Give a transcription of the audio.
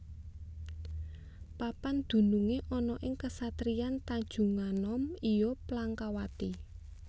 Papan dunungé ana ing kasatriyan Tanjunganom iya Plangkawati